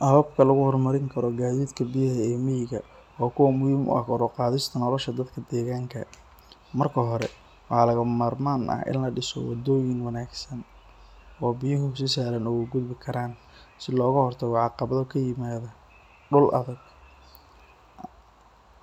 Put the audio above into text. Waa kuwa muhiim ah kor uqaadis, biya looga hor tago dul adag